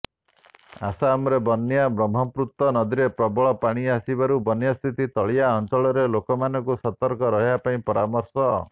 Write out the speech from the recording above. ଆସାମରେ ବନ୍ୟା ବ୍ରହ୍ମପୁତ୍ର ନଦୀରେ ପ୍ରବଳ ପାଣି ଆସିବାରୁ ବନ୍ୟାସ୍ଥିତି ତଳିଆ ଅଞ୍ଚଳର ଲୋକମାନଙ୍କୁ ସତର୍କ ରହିବା ପାଇଁ ପରାମର୍ଶ